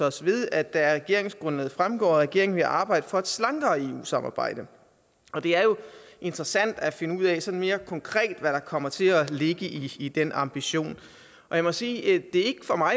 os ved at det af regeringsgrundlaget fremgår at regeringen vil arbejde for et slankere eu samarbejde og det er jo interessant at finde ud af sådan mere konkret hvad der kommer til at ligge i den ambition jeg må sige at det